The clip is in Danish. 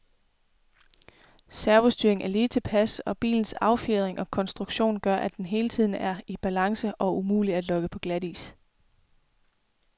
Servostyringen er lige tilpas, og bilens affjedring og konstruktion gør, at den hele tiden er i balance og umulig at lokke på glatis.